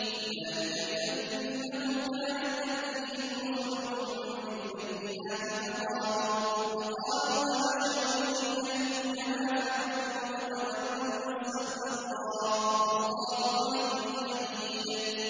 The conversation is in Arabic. ذَٰلِكَ بِأَنَّهُ كَانَت تَّأْتِيهِمْ رُسُلُهُم بِالْبَيِّنَاتِ فَقَالُوا أَبَشَرٌ يَهْدُونَنَا فَكَفَرُوا وَتَوَلَّوا ۚ وَّاسْتَغْنَى اللَّهُ ۚ وَاللَّهُ غَنِيٌّ حَمِيدٌ